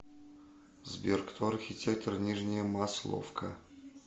сбер кто архитектор нижняя масловка